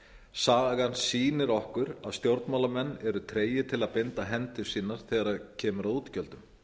sagan sýnir okkur að stjórnmálamenn eru tregir til að binda hendur sínar þegar kemur að útgjöldum